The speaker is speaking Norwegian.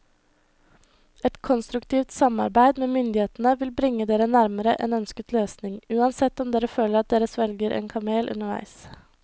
Et konstruktivt samarbeid med myndighetene vil bringe dere nærmere en ønsket løsning, uansett om dere føler at dere svelger en kamel underveis.